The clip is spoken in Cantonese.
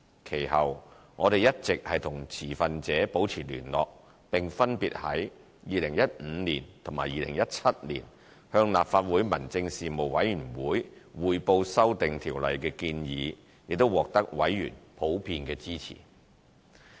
其後，我們一直與持份者保持聯繫，並分別在2015年及2017年向立法會民政事務委員會匯報修訂《條例》的建議，亦獲得委員普遍支持。